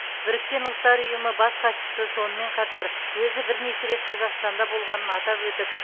біріккен ұлттар ұйымы бас хатшысы сонымен қатар өзі бірнеше рет қазақстанда болғанын атап өтіп